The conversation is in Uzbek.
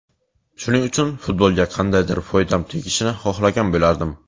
Shuning uchun, futbolga qandaydir foydam tegishini xohlagan bo‘lardim.